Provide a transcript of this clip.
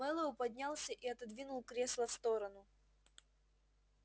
мэллоу поднялся и отодвинул кресло в сторону